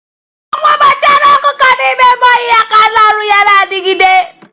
a na-edobe ọgwụ mgbochi anụ ọkụkọ n'ime ebe oyi ka ike ya na arụ ọrụ ya dịgide.